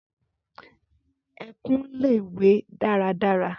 Ẹkùn le we daradara.